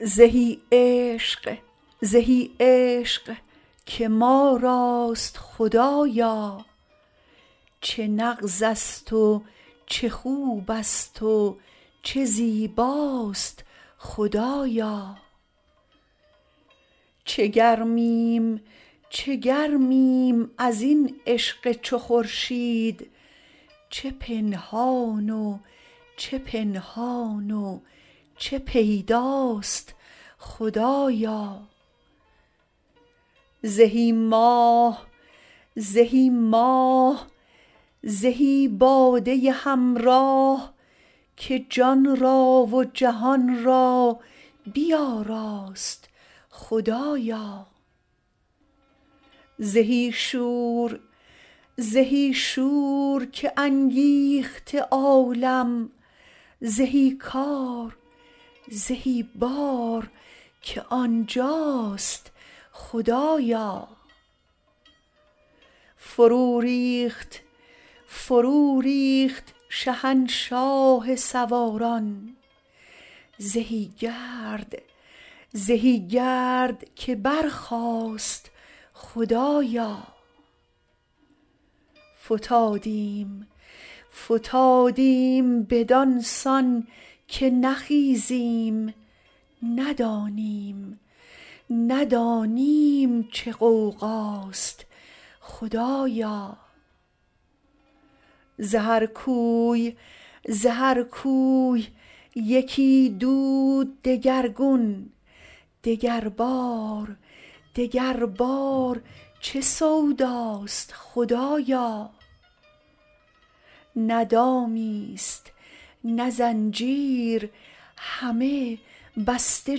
زهی عشق زهی عشق که ما راست خدایا چه نغزست و چه خوبست و چه زیباست خدایا چه گرمیم چه گرمیم از این عشق چو خورشید چه پنهان و چه پنهان و چه پیداست خدایا زهی ماه زهی ماه زهی باده همراه که جان را و جهان را بیاراست خدایا زهی شور زهی شور که انگیخته عالم زهی کار زهی بار که آن جاست خدایا فروریخت فروریخت شهنشاه سواران زهی گرد زهی گرد که برخاست خدایا فتادیم فتادیم بدان سان که نخیزیم ندانیم ندانیم چه غوغاست خدایا ز هر کوی ز هر کوی یکی دود دگرگون دگربار دگربار چه سوداست خدایا نه دامیست نه زنجیر همه بسته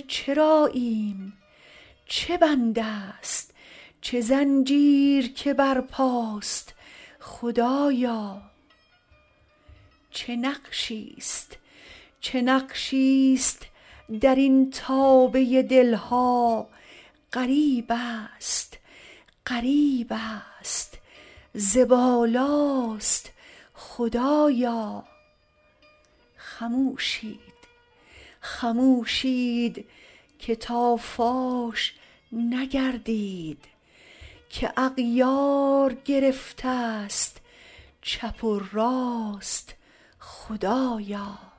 چراییم چه بندست چه زنجیر که برپاست خدایا چه نقشیست چه نقشیست در این تابه دل ها غریبست غریبست ز بالاست خدایا خموشید خموشید که تا فاش نگردید که اغیار گرفتست چپ و راست خدایا